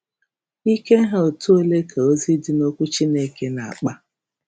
Ike ha etu ole ka ozi dị n’Okwu Chineke na-akpa?